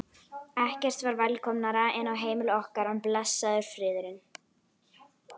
Ekkert var velkomnara inn á heimili okkar en blessaður friðurinn.